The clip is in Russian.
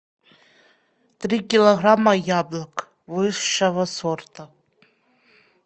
три килограмма яблок высшего сорта